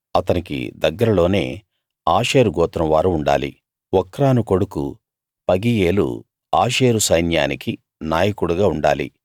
అతనికి దగ్గరలోనే ఆషేరు గోత్రం వారు ఉండాలి ఒక్రాను కొడుకు పగీయేలు ఆషేరు సైన్యానికి నాయకుడుగా ఉండాలి